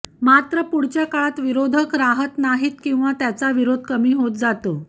मात्र पुढच्या काळात विरोधक राहात नाहीत किंवा त्याचा विरोध कमी होत जातो